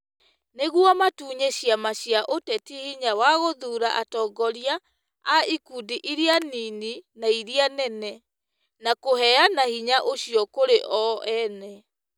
Nĩguo matunye ciama cia ũteti hinya wa gũthuura atongoria a ikundi iria nini na iria nene. Na kũheana hinya ũcio kũrĩ o ene.